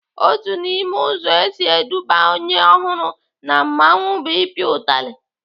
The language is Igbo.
Otu n'ime ụzọ esi eduba onye ọhụrụ na mmanwụ bụ ịpịa utali.